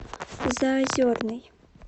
заозерный